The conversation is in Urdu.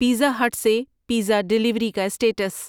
پیزا ہٹ سے پیزا ڈیلیوری کا سٹیٹس